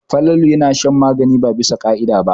Falalu yana shan magani ba bisa ka'ida ba.